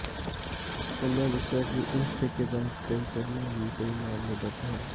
ਉਨ੍ਹਾਂ ਦੱਸਿਆ ਕਿ ਇਸ ਠੇਕੇਦਾਰ ਤੇ ਪਹਿਲਾਂ ਵੀ ਕਈ ਮਾਮਲੇ ਦਰਜ ਹਨ